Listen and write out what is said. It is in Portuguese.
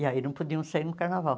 E aí não podiam sair no carnaval.